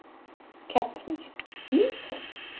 Kertasníkir: Bílpróf?